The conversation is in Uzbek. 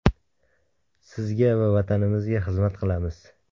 Sizga va Vatanimizga xizmat qilamiz.